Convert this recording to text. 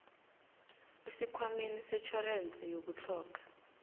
esikhwameni setjhorense yokutlhoga